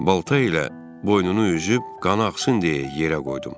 Balta ilə boynunu üzüb qanı axsın deyə yerə qoydum.